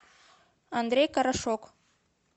андрей карашок